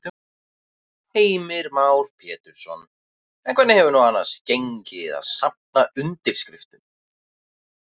Heimir Már Pétursson: En hvernig hefur nú annars gengið að, að safna undirskriftum?